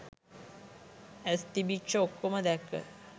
ඇස් තිබිච්ච ඔක්කොම දැක්ක